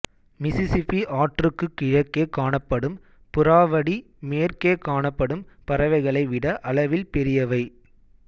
Mississippi ஆற்றுக்குக் கிழக்கே காணப்படும் புறாவடி மேற்கே காணப்படும் பறவைகளை விட அளவில் பெரியவை